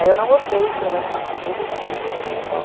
Aí eu não gostei de trabalhar nessa empresa, eu fiquei um mês só.